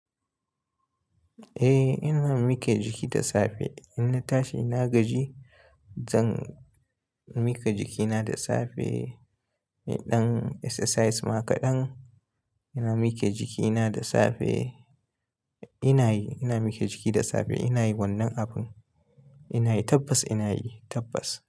Eh, ina mike jiki da safe. Inna tashi na gaji, zan mika jikina da safe. Eh ɗan exercise ma kaɗan. Ina mike jikina da safe. Ina yi, ina mike jiki da safe. Ina yi wannan abun. Ina yi tabbas ina yi tabbas.